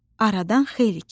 Aradan xeyli keçdi.